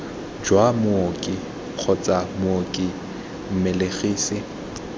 jwa mooki kgotsa mooki mmelegisi